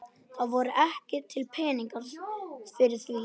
Það voru ekki til peningar fyrir því.